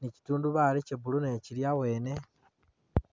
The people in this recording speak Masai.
ni kitundubali kya blue nakyo kili abwene.